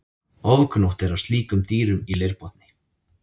Ofgnótt er af slíkum dýrum í leirbotni.